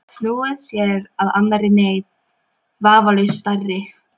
Snúið sér að annarri neyð, vafalaust stærri.